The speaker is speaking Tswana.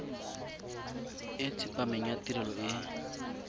e tsepameng ya tirelo e